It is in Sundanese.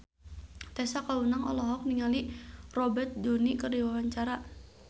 Tessa Kaunang olohok ningali Robert Downey keur diwawancara